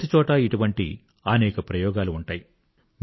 ప్రతిచోటా ఇటువంటి అనేక ప్రయోగాలు ఉంటాయి